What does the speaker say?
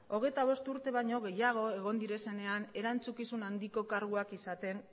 hogeita bost urte baino gehiago egon direnean erantzukizun handiko karguak izaten